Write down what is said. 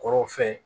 Kɔrɔ fɛn ye